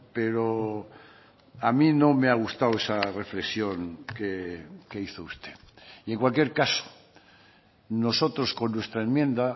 pero a mí no me ha gustado esa reflexión que hizo usted y en cualquier caso nosotros con nuestra enmienda